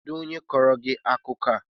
Kedụ onye kọọrọ gị akụkọ a?